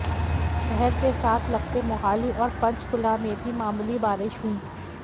शहर के साथ लगते मोहाली और पंचकुला में भी मामूली बारिश हुई